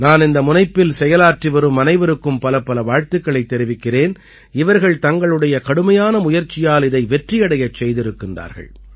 நான் இந்த முனைப்பில் செயலாற்றி வரும் அனைவருக்கும் பலப்பல வாழ்த்துக்களைத் தெரிவிக்கிறேன் இவர்கள் தங்களுடைய கடுமையான முயற்சியால் இதை வெற்றியடையச் செய்திருக்கிறார்கள்